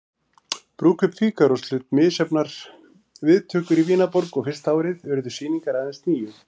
Brúðkaup Fígarós hlaut misjafnar viðtökur í Vínarborg og fyrsta árið urðu sýningar aðeins níu.